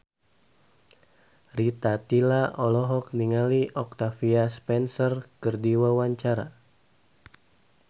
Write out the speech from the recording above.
Rita Tila olohok ningali Octavia Spencer keur diwawancara